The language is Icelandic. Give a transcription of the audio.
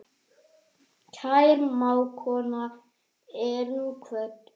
Kær mágkona er nú kvödd.